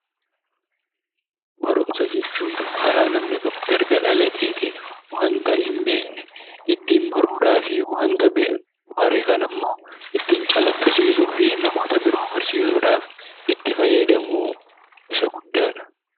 Barumsa jechuun karaa namni tokko erga dhalateetii waanta hin beekne ittiin baruudhaaf waanta bare kanammoo ittiin calaqqisiisuuf namoota biroo barsiisuudhaaf itti fayyadamu isa guddaadha.